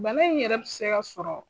Bana in yɛrɛ bi se ka sɔrɔ